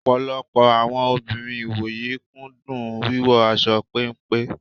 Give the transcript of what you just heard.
Ọ̀pọ̀lọpọ̀ àwọn obìnrin ìwòyí kú dùn wíwọ aṣọ péńpé.